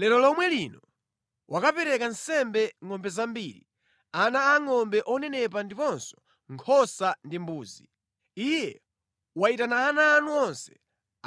Lero lomwe lino wakapereka nsembe ngʼombe zambiri, ana angʼombe onenepa ndiponso nkhosa ndi mbuzi. Iye wayitana ana anu onse,